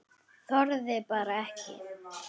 Við gátum ekki talað saman.